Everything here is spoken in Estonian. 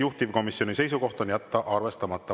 Juhtivkomisjoni seisukoht on jätta arvestamata.